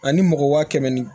Ani mɔgɔ kɛmɛ ni